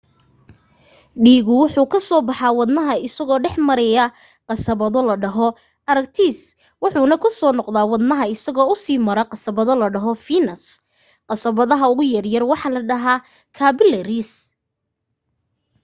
dhiigu wuxuu kazoo baxaa wadnaha isoo dhexmara qasabado la dhaho artariis wuxuuna kusoo noqdaa wadnaha isagoo usii mara qasabado la dhaho fiinis qasabadaha ugu yaryar waxaa la dhahaa kaabilariis